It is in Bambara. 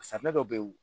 Safunɛ dɔ bɛ ye